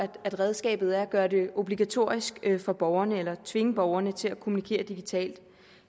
redskabet er at gøre det obligatorisk for borgerne eller at tvinge borgerne til at kommunikere digitalt